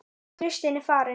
Kristín er farin